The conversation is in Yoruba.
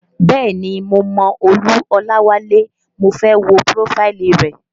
Bẹ́ẹ̀ni mo mọ Olú Olawale, mo fẹ́ wo prófáìlì rẹ̀